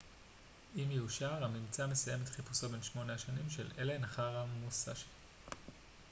אם יאושר הממצא מסיים את חיפושו בן שמונה השנים של אלן אחר המוסאשי